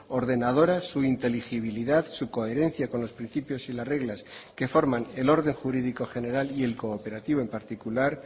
ordenadora su inteligibilidad su coherencia con los principios y las reglas que forman el orden jurídico general y el cooperativo en particular